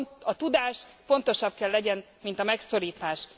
A tudás fontosabb kell legyen, mint a megszorítás!